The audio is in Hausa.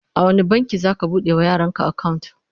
a wani banki zaka bude wa yaran ka akawunt?